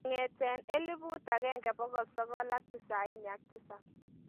Kong'ete 1997.